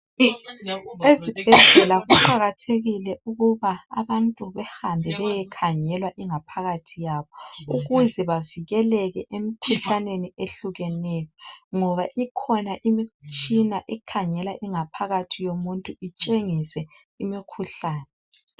Ezobhedlela kuqakathekile ukuba abantu behambe beyekhangela ingaphakathi yabo ukuze bavikelele emkhuhlaneni ehlukeneneyo ngoba ikhona imitshina ekhangela ingaphakathi yomuntu itshengise imikhuhlane.